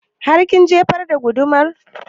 Har kin jefar da gudumar?